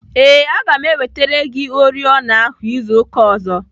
Ee, aga m ewetere gị oriọna ahụ izu ụka ọzọ.